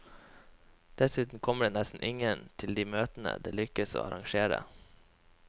Dessuten kommer det nesten ingen til de møtene det lykkes å arrangere.